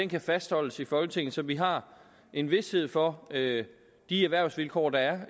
kan fastholdes i folketinget så vi har en vished for de erhvervsvilkår der